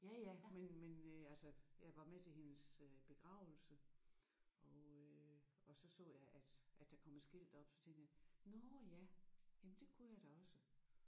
Ja ja men men øh altså jeg var med til hendes begravelse og øh og så så jeg at at der kom et skilt op så tænkte jeg nåh ja jamen det kunne jeg da også